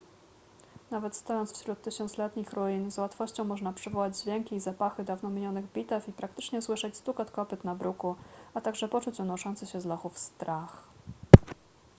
nawet stojąc wśród tysiącletnich ruin z łatwością można przywołać dźwięki i zapachy dawno minionych bitew i praktycznie słyszeć stukot kopyt na bruku a także poczuć unoszący się z lochów strach